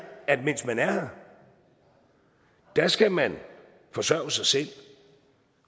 at mens man er har skal man forsørge sig selv